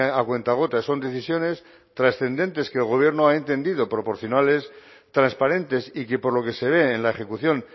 a cuentagotas son decisiones trascendentes que el gobierno ha entendido proporcionales transparentes y que por lo que se ve en la ejecución